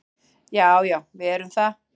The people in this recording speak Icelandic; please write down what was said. Já, já við erum það.